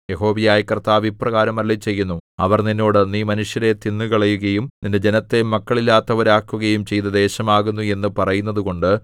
യഹോവയായ കർത്താവ് ഇപ്രകാരം അരുളിച്ചെയ്യുന്നു അവർ നിന്നോട് നീ മനുഷ്യരെ തിന്നുകളയുകയും നിന്റെ ജനത്തെ മക്കളില്ലാത്തവരാക്കുകയും ചെയ്ത ദേശമാകുന്നു എന്നു പറയുന്നതുകൊണ്ട്